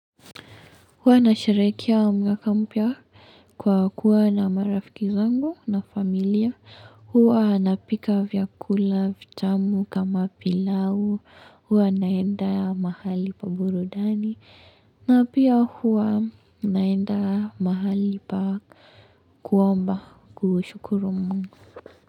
Huwa nasharehekea mwaka mpya kwa kuwa na marafiki zangu na familia. Huwa napika vyakula vitamu kama pilau. Hua nenda mahali pa burudani. Na pia huwa nenda ya mahali pa kuomba. Kuu shukuru mungu.